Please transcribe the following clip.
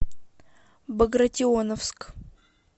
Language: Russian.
багратионовск